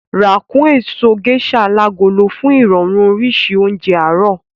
Rà kún èso Gẹ́sà alágolo fún irọrun oríṣi oúnjẹ àárọ̀